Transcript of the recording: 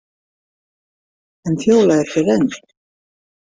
En Fjóla er hér enn.